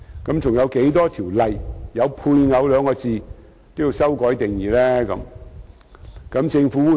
還有多少項包含"配偶"兩字的條例也要修改定義呢？